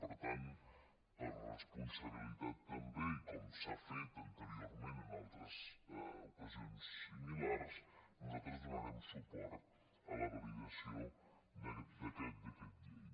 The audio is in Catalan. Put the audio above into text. per tant per responsabilitat també i com s’ha fet anteriorment en altres ocasions similars nosaltres donarem suport a la validació d’aquest decret llei